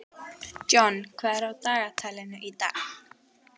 John, hvað er á dagatalinu í dag?